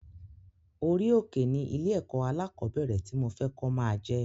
Orí òkè ni ilé ẹ̀kọ́ alákọ̀bẹ́rẹ̀ ti mo fẹ kó máa jẹ